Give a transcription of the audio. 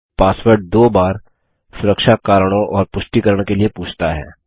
password दो बार सुरक्षा कारणों और पुष्टिकरण के लिए पूछता है